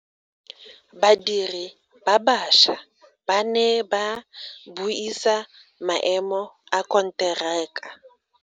Badiri ba baša ba ne ba buisa maemo a konteraka.